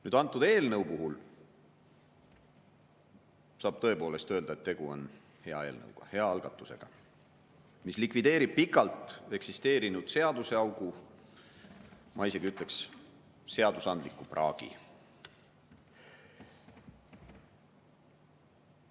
Nüüd, selle eelnõu kohta saab tõepoolest öelda, et tegu on hea eelnõuga, hea algatusega, mis likvideerib pikalt eksisteerinud seaduseaugu, ja ma isegi ütleks, seadusandliku praagi.